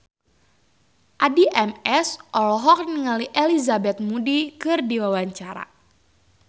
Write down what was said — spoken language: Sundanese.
Addie MS olohok ningali Elizabeth Moody keur diwawancara